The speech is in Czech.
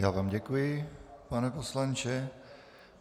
Já vám děkuji, pane poslanče.